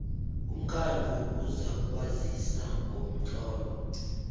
umkhandlu uzakwazisa ngomtlolo